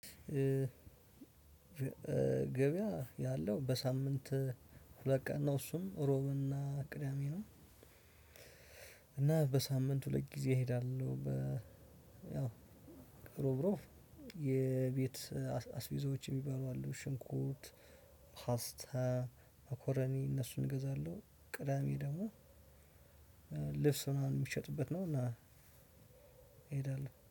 ገበያ ያለው በሳምንት ሁለት ቀን ነው እሱም እሮብና ቅዳሜ ነው። እና በሳምንት ሁለት ጊዜ እሄዳለሁ። በ ያው ሮብሮብ የቤት አስቤዘዎች የሚባሉ አሉ ሽንኩት፣ ፓስታ፣ መኮረኒ እነሱን እገዛለሁ። ቅዳሜ ደግሞ ልብስ ምናምን ሚሸጥበት ነው እና እሄዳለሁ።